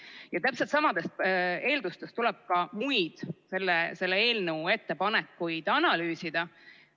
Ja täpselt samadest eeldustest tuleb ka muid selle eelnõu ettepanekuid analüüsida.